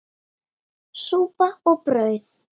Súpa og brauð.